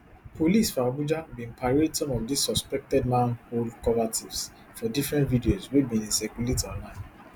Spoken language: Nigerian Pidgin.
police for abuja bin parade some of dis suspected manhole cover tiffs for different videos wey bin dey circulate online